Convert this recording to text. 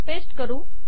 paste करू